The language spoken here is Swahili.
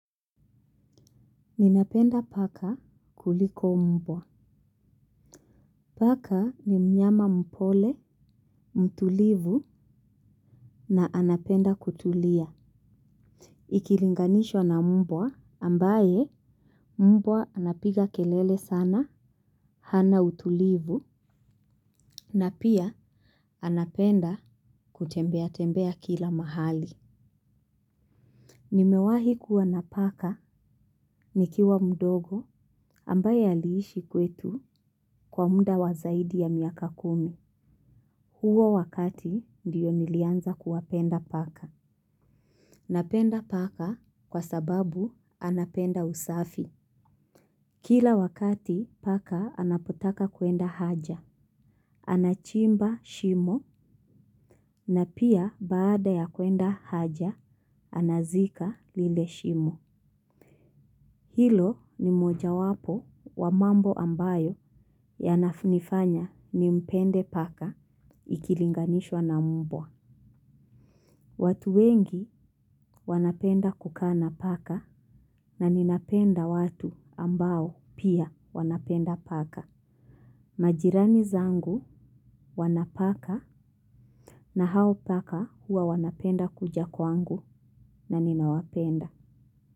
Ninapenda paka kuliko mbwa. Paka ni mnyama mpole, mtulivu na anapenda kutulia. Ikilinganishwa na mbwa ambaye mbwa anapiga kelele sana hana utulivu na pia anapenda kutembea tembea kila mahali. Nimewahi kuwa na paka nikiwa mdogo ambaye aliishi kwetu kwa muda wa zaidi ya miaka kumi. Huo wakati ndiyo nilianza kuwapenda paka. Napenda paka kwa sababu anapenda usafi. Kila wakati paka anapotaka kuenda haja. Anachimba shimo na pia baada ya kuenda haja anazika lile shimo. Hilo ni mojawapo wa mambo ambayo yanafnifanya nimpende paka ikilinganishwa na mbwa. Watu wengi wanapenda kukaa na paka na ninapenda watu ambao pia wanapenda paka. Majirani zangu wana paka na hao paka huwa wanapenda kuja kwangu na ninawapenda.